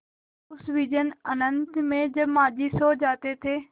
उस विजन अनंत में जब माँझी सो जाते थे